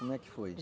Como é que foi?